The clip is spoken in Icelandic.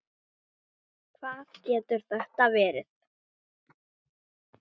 Lóa: Hvað getur þetta verið?